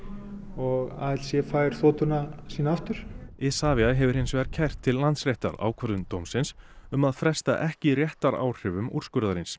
og ALC fær sína aftur Isavia hefur hins vegar kært til Landsréttar ákvörðun dómsins um að fresta ekki réttaráhrifum úrskurðarins